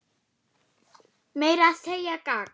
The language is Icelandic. Meira að segja gagn.